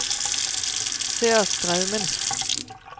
Sørstraumen